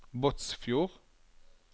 Båtsfjord